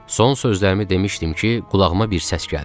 Son sözlərimi demişdim ki, qulağıma bir səs gəldi.